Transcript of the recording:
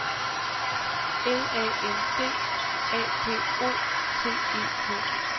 L A N D A P O T E K